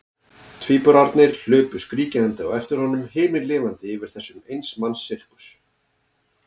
Tvíburarnir hlupu skríkjandi á eftir honum, himinlifandi yfir þessum eins manns sirkus.